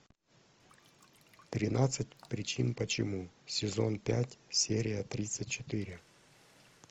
тринадцать причин почему сезон пять серия тридцать четыре